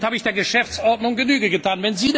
Damit habe ich der Geschäftsordnung Genüge getan.